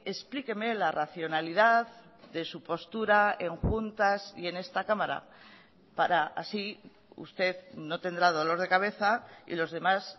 explíqueme la racionalidad de su postura en juntas y en esta cámara para así usted no tendrá dolor de cabeza y los demás